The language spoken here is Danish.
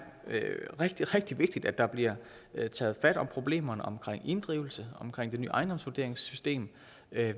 rigtig rigtig vigtigt at der bliver taget fat om problemerne omkring inddrivelse omkring det nye ejendomsvurderingssystem